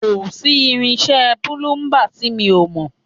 Kò sí irinṣẹ́ púlúḿbà tí mi ò mọ̀